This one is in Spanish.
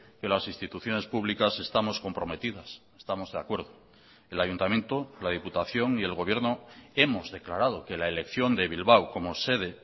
que las instituciones públicas estamos comprometidas estamos de acuerdo el ayuntamiento la diputación y el gobierno hemos declarado que la elección de bilbao como sede